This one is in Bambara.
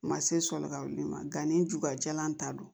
Ma se sɔni ka wuli magami jula jalan ta don